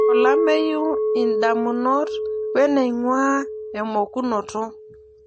olameyu, idamunot, we neing'uaa emokunoto.